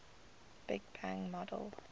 big bang model